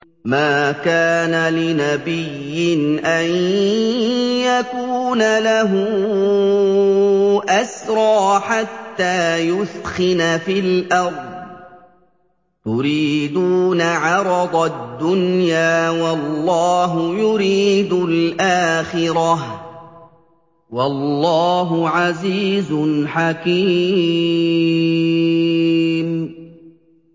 مَا كَانَ لِنَبِيٍّ أَن يَكُونَ لَهُ أَسْرَىٰ حَتَّىٰ يُثْخِنَ فِي الْأَرْضِ ۚ تُرِيدُونَ عَرَضَ الدُّنْيَا وَاللَّهُ يُرِيدُ الْآخِرَةَ ۗ وَاللَّهُ عَزِيزٌ حَكِيمٌ